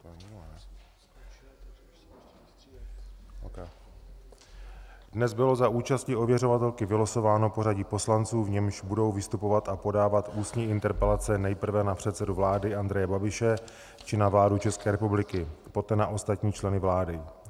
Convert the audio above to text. Dnes bylo za účasti ověřovatelky vylosováno pořadí poslanců, v němž budou vystupovat a podávat ústní interpelace nejprve na předsedu vlády Andreje Babiše či na vládu České republiky, poté na ostatní členy vlády.